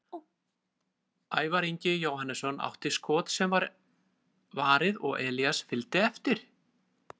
Ævar Ingi Jóhannesson átti skot sem var varið og Elías fylgdi eftir.